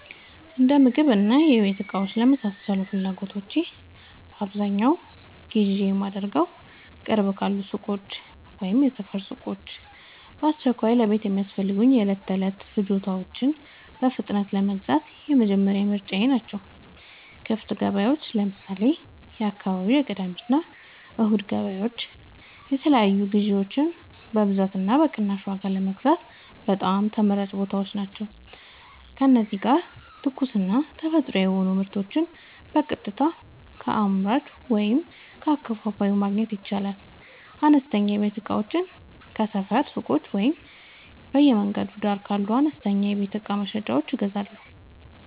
የእንደምግብና የቤት እቃዎች ለመሳሰሉት ፍላጎቶቼ በአብዛኛው ግዢ የማደርገዉ፦ ቅርብ ካሉ ሱቆች (የሰፈር ሱቆች)፦ በአስቸኳይ ለቤት የሚያስፈልጉ የዕለት ተዕለት ፍጆታዎችን በፍጥነት ለመግዛት የመጀመሪያ ምርጫየ ናቸው። ክፍት ገበያዎች (ለምሳሌ፦ የአካባቢው የቅዳሜና እሁድ ገበያዎች) የተለያዩ ግዥዎችን በብዛትና በቅናሽ ዋጋ ለመግዛት በጣም ተመራጭ ቦታዎች ናቸው። እዚህ ጋር ትኩስና ተፈጥሯዊ የሆኑ ምርቶችን በቀጥታ ከአምራቹ ወይም ከአከፋፋዩ ማግኘት ይቻላል። አነስተኛ የቤት እቃዎችን ከሰፈር ሱቆች ወይም በየመንገዱ ዳር ካሉ አነስተኛ የቤት እቃ መሸጫዎች እገዛለሁ።